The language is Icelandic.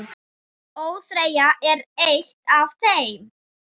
ÓÞREYJA er eitt af þeim.